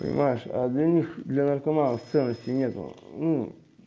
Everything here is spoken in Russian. понимаешь а для них для наркоманов ценностей нет ну